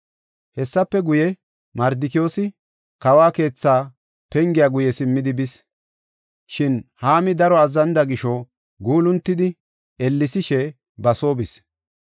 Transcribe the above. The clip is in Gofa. Hessafe guye, Mardikiyoosi kawo keethi penge guye simmidi bis. Shin Haami daro azzanida gisho, guuluntidi, ellesishe ba soo bis.